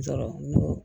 Sɔrɔ